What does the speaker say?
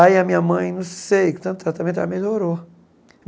Aí, a minha mãe, não sei, com tanto tratamento, ela melhorou.